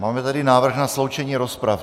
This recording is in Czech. Máme tady návrh na sloučení rozprav.